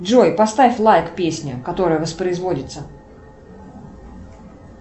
джой поставь лайк песне которая воспроизводится